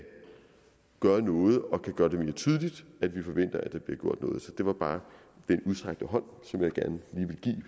gøre noget og kan gøre det mere tydeligt at vi forventer at der bliver gjort noget det var bare den udstrakte hånd